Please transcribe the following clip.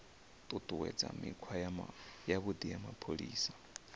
ṱuṱuwedza mikhwa yavhuḓi ya mapholisa